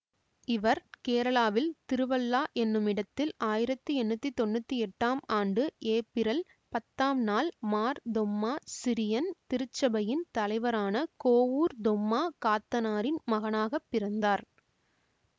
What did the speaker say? இவர் கேரளாவில் திருவள்ளா என்னுமிடத்தில் ஆயிரத்தி எண்ணூத்தி தொன்னூத்தி எட்டாம் ஆண்டு ஏப்பிரல் பத்தாம் நாள் மார் தொம்மா சிரியன் திருச்சபையின் தலைவரான கோவூர் தொம்மா காத்தனாரின் மகனாக பிறந்தார்